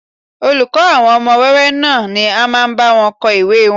Olùkọ́ àwọn ọmọ wẹ́wẹ́ náà ni ó máa ń bá wọn kọ ìwée wọn